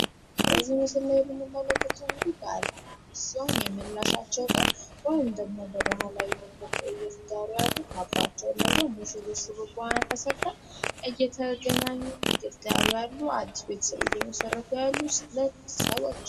በዚህ ምስል ላይ የምንመለከተው እንግዲህ ባልና ሚስት ሲሆን የምላሻቸው ቀን በባህላዊ መንገድ ካባቸውን ለብሰው ሴቷ ሹርባዋን ተሰርታ እየተገናኙ እየተዳሩ ያሉ እና አዲስ ቤተሰብ እየመሠረቱ ያሉ ሰዎች ናቸው።